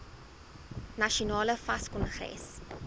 nasionale fas kongres